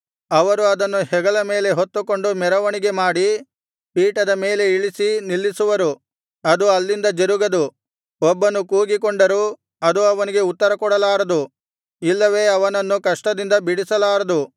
ಅವರು ಅದನ್ನು ಹೆಗಲ ಮೇಲೆ ಹೊತ್ತುಕೊಂಡು ಮೆರವಣಿಗೆ ಮಾಡಿ ಪೀಠದ ಮೇಲೆ ಇಳಿಸಿ ನಿಲ್ಲಿಸುವರು ಅದು ಅಲ್ಲಿಂದ ಜರುಗದು ಒಬ್ಬನು ಕೂಗಿಕೊಂಡರೂ ಅದು ಅವನಿಗೆ ಉತ್ತರಕೊಡಲಾರದು ಇಲ್ಲವೆ ಅವನನ್ನು ಕಷ್ಟದಿಂದ ಬಿಡಿಸಲಾರದು